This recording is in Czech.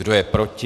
Kdo je proti?